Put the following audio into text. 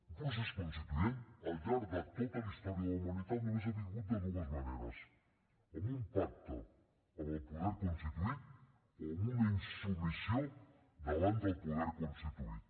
un procés constituent al llarg de tota la història de la humanitat només ha vingut de dues maneres amb un pacte amb el poder constituït o amb una insubmissió davant del poder constituït